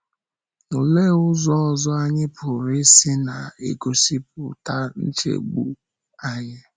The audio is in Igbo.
Ọ lee ụzọ ọzọ anyị pụrụ isi na - egosipụta nchegbu anyị?